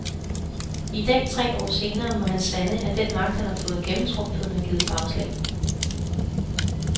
I dag, tre år senere, må han sande, at den magt, han har fået gennemtrumfet, har givet bagslag.